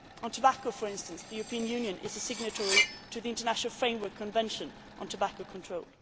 On tobacco, for instance, the European Union is a signatory to the International Framework Convention on Tobacco Control.